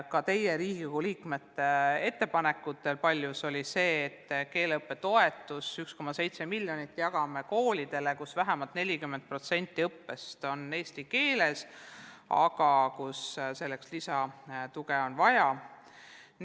Ka teie, Riigikogu liikmete ettepanek seisnes paljuski selles, et keeleõppetoetuse 1,7 miljonit võiks jagada koolidele, kus vähemalt 40% õppest on eesti keeles, aga kus selleks on endiselt lisatuge vaja.